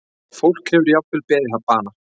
Fólk hefur jafnvel beðið bana